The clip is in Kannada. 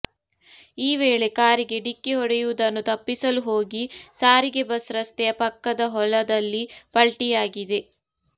ಈ ವೇಳೆ ಕಾರಿಗೆ ಡಿಕ್ಕಿ ಹೊಡೆಯುವುದನ್ನು ತಪ್ಪಿಸಲು ಹೋಗಿ ಸಾರಿಗೆ ಬಸ್ ರಸ್ತೆಯ ಪಕ್ಕದ ಹೊಲದಲ್ಲಿ ಪಲ್ಟಿಯಾಗಿದೆ